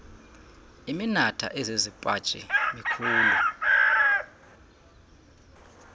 iminatha ezizipaji mikhulu